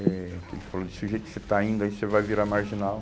Eh que ele falou, desse jeito que você está indo, aí você vai virar marginal.